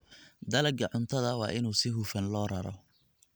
Dalagga cuntada waa in si hufan loo raro.